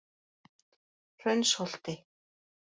Hraunsholti